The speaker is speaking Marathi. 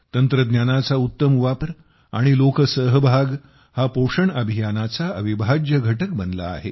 तंत्रज्ञानाचा उत्तम वापर आणि लोकसहभाग हा पोषण अभियानाचा अविभाज्य घटक बनला आहे